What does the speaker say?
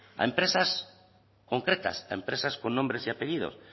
a empresas concretas empresas con nombres y apellidos